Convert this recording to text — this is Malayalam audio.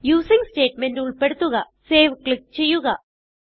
യൂസിങ് സ്റ്റേറ്റ്മെന്റ് ഉൾപ്പെടുത്തുക saveക്ലിക്ക് ചെയ്യുക